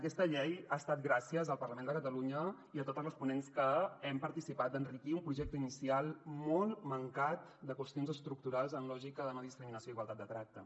aquesta llei ha estat gràcies al parlament de catalunya i a totes les ponents que hem participat d’enriquir un projecte inicial molt mancat de qüestions estructurals en lògica de no discriminació i igualtat de tracte